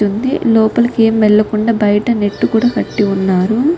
లోపలికి ఏం వెల్లకుండా బయట నెట్ కూడా కట్టి వున్నారు.